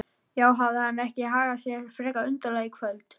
Já, hafði hann ekki hagað sér frekar undarlega í gærkvöld?